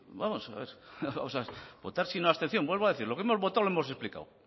y votar sí no abstención vuelvo a decir lo que hemos votado lo hemos explicado